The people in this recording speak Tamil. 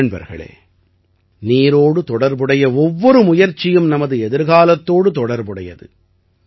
நண்பர்களே நீரோடு தொடர்புடைய ஒவ்வொரு முயற்சியும் நமது எதிர்காலத்தோடு தொடர்புடையது